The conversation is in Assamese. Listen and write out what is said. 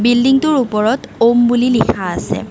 বিল্ডিংটোৰ ওপৰত ঔঁম বুলি লিখা আছে।